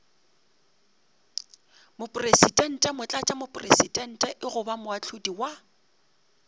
mopresidente motlatšamopresidente goba moahlodi wa